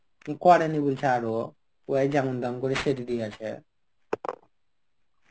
করেনি বলছে আরও. ওই যেমন তেমন করে সেরে দিয়ে গেছে.